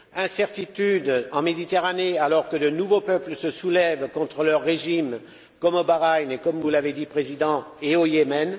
incertitude en Méditerranée, alors que de nouveaux peuples se soulèvent contre leur régime, comme au Bahreïn et comme vous l'avez dit Monsieur le Président au Yémen.